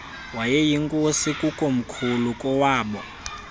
wayeyinkosi kukomkhulu kowaaboo